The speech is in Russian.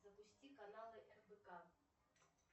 запусти каналы рбк